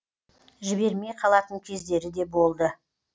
жібермей қалатын кездері де болды